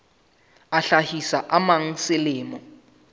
a hlahisa a mang selemo